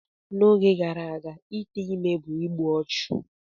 N'oge gara aga ite ime bụ igbu ọchụ.